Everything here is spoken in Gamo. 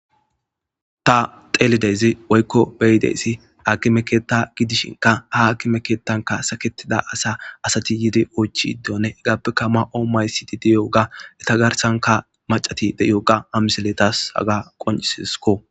Ta teelidezi woykko beyideesi aki mekeetta gidishinka haakimekeettanka saketida asa asati yidi oychidone egappekka ma7o maysidi diyoga eta garsanka macati deyoga amiseletas haga qonisisko